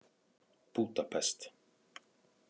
Búdapest